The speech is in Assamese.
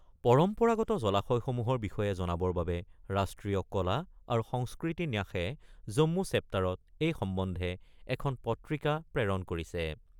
পৰম্পাগত জলাশয়সমূহৰ বিষয়ে জনাবৰ বাবে ৰাষ্ট্ৰীয় কলা আৰু সংস্কৃতি ন্যাসে জন্ম চেপ্তাৰত এই সম্বন্ধে এখন পত্ৰিকা প্ৰেৰণ কৰিছে।